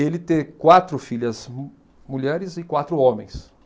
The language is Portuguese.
Ele ter quatro filhas mu mulheres e quatro homens.